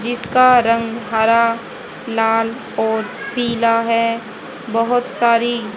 जिसका रंग हरा लाल और पीला है बहोत सारी--